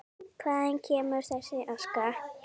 Hvaðan kemur þessi aska?